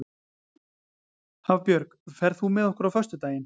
Hafbjörg, ferð þú með okkur á föstudaginn?